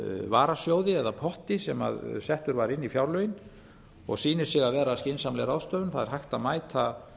varasjóði eða potti sem settur var inn í fjárlögin og sýnir sig að vera skynsamleg ráðstöfun það er hægt að mæta